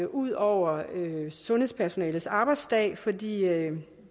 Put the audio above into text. ud over sundhedspersonalets arbejdsdag fordi